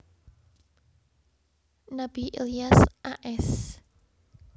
Nabi Ilyas a s